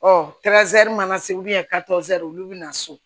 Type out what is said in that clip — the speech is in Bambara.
Ɔ mana se olu bɛ na so